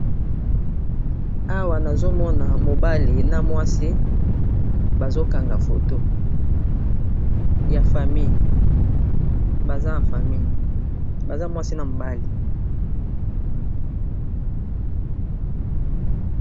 Awa nazomona mobale na mwasi ba zokanga foto ya famille baza mwasi na mobale.